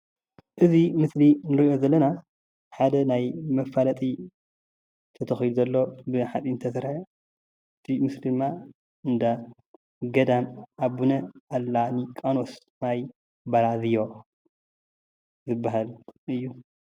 እዚ ሞስሊ እንሪኦ ዘለና ሓደ ናይ መፋለጢ ተተኪሉ ኾይኑ ዘሎ ብሓፂን ዝተሰርሐ እቲ ምስሊ ድማ እንዳ ኣቡነ ገዳም ሊቃኖስ ማይበራዝዮ እዩ።